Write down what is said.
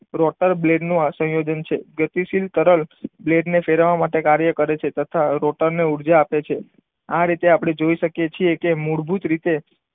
Rotor blade નો આ સંયોજન છે. ગતિશીલ તરલ બેને ફેરવવા માટે માટે કાર્ય કરે છે. તથા રોટરને ઊર્જાઆપે છે આ રીતે આપણે જોઈ શકીએ છીએ કે મૂળભૂત રીતે